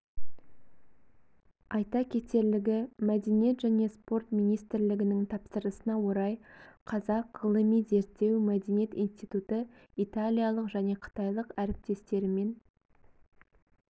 айта кетерлігі мәдениет және спорт министрлігінің тапсырысына орай қазақ ғылыми-зерттеу мәдениет институты италиялық және қытайлық әріптестерімен